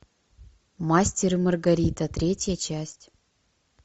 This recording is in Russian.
мастер и маргарита третья часть